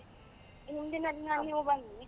ಹಿಂದಿನ ದಿನ ನೀವು ಬನ್ನಿ.